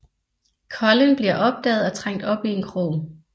Collin bliver opdaget og trængt op i en krog